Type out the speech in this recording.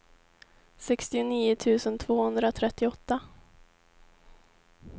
sextionio tusen tvåhundratrettioåtta